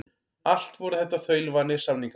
Allt voru þetta þaulvanir samningamenn.